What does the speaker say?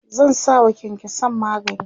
zan sawa kyankyansan magani